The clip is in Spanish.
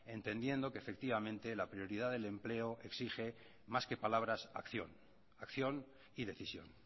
entendiendo que efectivamente la prioridad del empleo exige más que palabras acción acción y decisión